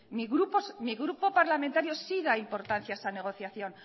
mi grupo parlamentario sí da importancia a esa negociación